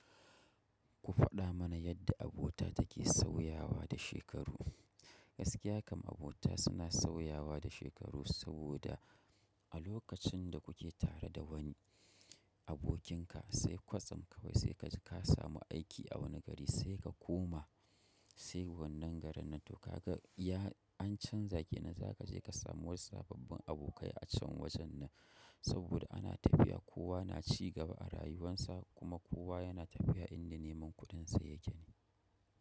Ku faɗa mana yadda abota take sauyawa da shekaru. Gaskiya kam abota suna sauyawa da shekaru saboda a lokacin da kuke tare da wani abokinka sai kwatsam ka kai sai ka samu aiki a wani gari sai ka koma sai wannan garin nan to ka ga ya an canza ke nan za ka je ka samu wasu sababban abokai a can wajen nan saboda ana tafiya kowa na ci gaba a rayuwarsa kuma kowa yana tafiya inda neman kuɗinsa yake ne.